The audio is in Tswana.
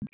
le .